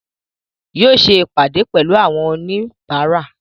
Yóò ṣe ìpàdé pẹ̀lú àwọn oníbàárà